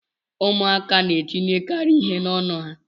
Ụmụaka na etinyekarị ihe n'ọnụ ha.